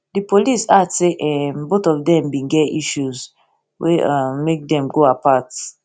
di police add say um both of dem bin get issues wey um make dem go apart go apart